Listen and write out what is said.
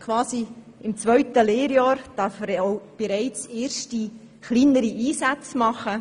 Quasi im zweiten Lehrjahr darf er dann auch erste kleinere Einsätze absolvieren.